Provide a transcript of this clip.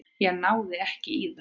Ég náði ekki í þær.